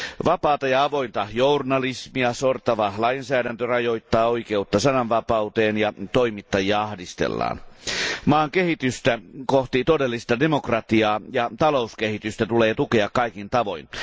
Vapaata ja avointa journalismia sortava lainsäädäntö rajoittaa oikeutta sananvapauteen ja toimittajia ahdistellaan. Maan kehitystä kohti todellista demokratiaa ja talouskehitystä tulee tukea kaikin tavoin.